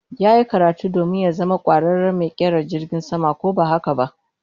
Yayi karatu domin ya zama kwararen mai kera jirgin sama ko ba haka ba?